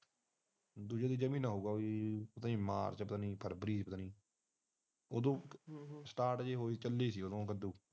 ਦੀਜਾ ਤੀਜਾ ਮਹੀਨਾ ਹਊਗਾ ਮਾਰਚ ਪਤਾ ਨੀ ਫਰਵਰੀ ਉਦੋਂ ਸਟਾਟ ਜਿਹੇ ਹੋਏ ਸੀ ਚੱਲ ਸੀ ਉਦੋ